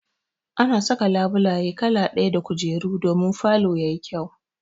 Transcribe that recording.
Ana saka labulaye kala ɗaya da kujeru domin falo ya yi kyau.